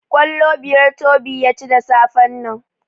Kwallo biyar Tobi ya ci da safen nan.